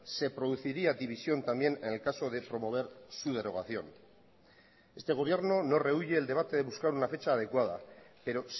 se produciría división también en el caso de promover su derogación este gobierno no rehuye el debate de buscar una fecha adecuada pero